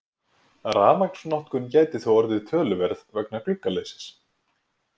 Rafmagnsnotkun gæti þó orðið töluverð vegna gluggaleysis.